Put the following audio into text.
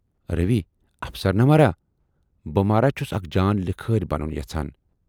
روی افسر نہٕ مہراہ، بہٕ مہراہ چھُس اکھ جان لِکھٲرۍ بنُن یَژھان